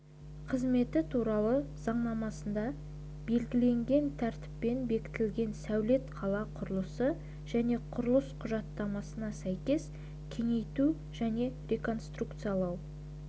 қызметі туралы заңнамасында белгіленген тәртіппен бекітілген сәулет-қала құрылысы және құрылыс құжаттамасына сәйкес кеңейту және реконструкциялау